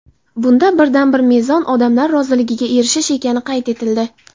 Bunda birdan-bir mezon – odamlar roziligiga erishish ekani qayd etildi.